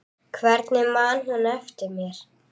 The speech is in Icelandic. Hvernig man hún eftir mér?